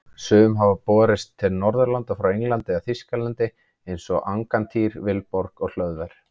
Sum hafa borist til Norðurlanda frá Englandi eða Þýskalandi eins og Angantýr, Vilborg og Hlöðver.